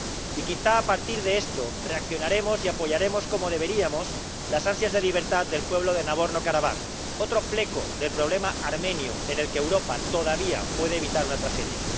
Y quizá, a partir de esto, reaccionaremos y apoyaremos como deberíamos las ansias de libertad del pueblo de Nagorno Karabaj, otro fleco del problema armenio en el que Europa todavía puede evitar una tragedia.